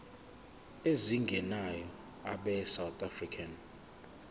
ezingenayo abesouth african